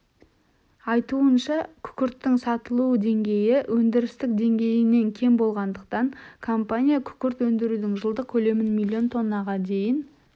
айтуынша күкірттің сатылу деңгейі өндіріс деңгейінен кем болғандықтан компания күкірт өндірудің жылдық көлемін миллион тоннаға дейін